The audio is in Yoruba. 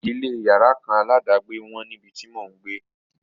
Ilé yàrá kan aládàgbé wọ́n níbi tí mò ń gbé.